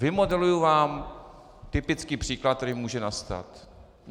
Vymodeluji vám typický příklad, který může nastat.